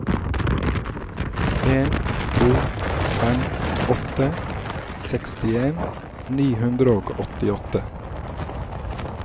en to fem åtte sekstien ni hundre og åttiåtte